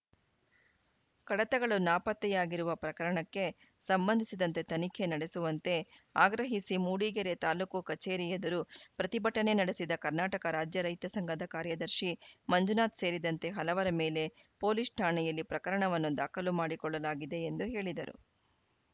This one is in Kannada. ಕಡತಗಳು ನಾಪತ್ತೆಯಾಗಿರುವ ಪ್ರಕರಣಕ್ಕೆ ಸಂಬಂಧಿಸಿದಂತೆ ತನಿಖೆ ನಡೆಸುವಂತೆ ಆಗ್ರಹಿಸಿ ಮೂಡಿಗೆರೆ ತಾಲೂಕು ಕಚೇರಿ ಎದುರು ಪ್ರತಿಭಟನೆ ನಡೆಸಿದ ಕರ್ನಾಟಕ ರಾಜ್ಯ ರೈತ ಸಂಘದ ಕಾರ್ಯದರ್ಶಿ ಮಂಜುನಾಥ್‌ ಸೇರಿದಂತೆ ಹಲವರ ಮೇಲೆ ಪೊಲೀಸ್‌ ಠಾಣೆಯಲ್ಲಿ ಪ್ರಕರಣವನ್ನು ದಾಖಲು ಮಾಡಿಕೊಳ್ಳಲಾಗಿದೆ ಎಂದು ಹೇಳಿದರು